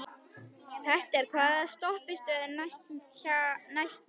Petter, hvaða stoppistöð er næst mér?